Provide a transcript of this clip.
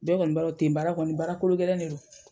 Bɛɛ kɔni b'a don ten baara kɔni baarakolo gɛlɛn de don.